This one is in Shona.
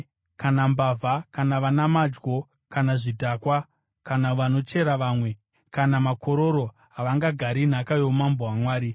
kana mbavha, kana vana madyo, kana zvidhakwa, kana vanochera vamwe, kana makororo, havangagari nhaka youmambo hwaMwari.